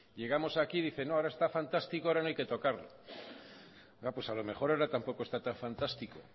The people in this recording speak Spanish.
llegamos aquí y dicen no ahora está fantástico ahora no hay que tocarlo pues a lo mejor ahora tampoco está tan fantástico